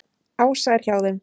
Ása er hjá þeim.